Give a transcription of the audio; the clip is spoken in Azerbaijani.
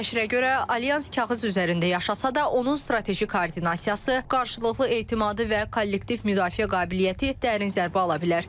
Nəşrə görə, alyans kağız üzərində yaşasa da, onun strateji koordinasiyası, qarşılıqlı etimadı və kollektiv müdafiə qabiliyyəti dərin zərbə ala bilər.